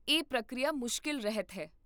ਇਹ ਪ੍ਰਕਿਰਿਆ ਮੁਸ਼ਕਲ ਰਹਿਤ ਹੈ